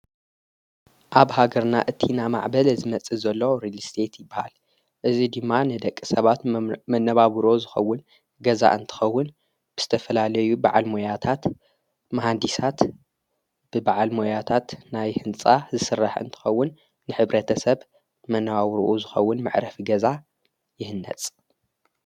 ኣብ ሃገርና እቲ ናማዕበል ዝመጽእ ዘሎ ሬልስሴት ይበሃል እዙይ ድማ ንደቂ ሰባት መነባብሩ ዝኸውን ገዛእ እንተኸውን ብዝተፈላለዩ በዓል ሞያታት መሃንዲሳት ብበዓል ሞያታት ናይ ሕንፃ ዝስራሕ እንትኸውን ንሕብረተሰብ መነባብርኡ ዝኸውን መዕረፍ ገዛ ይህነፅ።